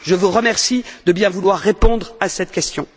Je vous remercie de bien vouloir répondre à cette question.